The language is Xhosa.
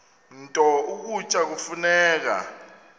nto ukutya kufuneka